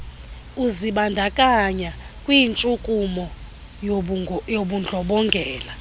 uzibandakanya kwintshukumo yobundlobongela